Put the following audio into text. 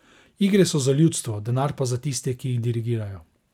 Igre so za ljudstvo, denar pa za tiste, ki jih dirigirajo.